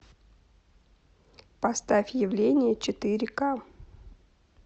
поставь явление четыре ка